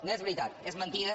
no és veritat és mentida